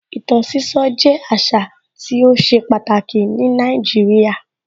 Ìtàn sísọ jẹ́ àṣà tí ó ṣe pàtàkì ní Nàìjíríà.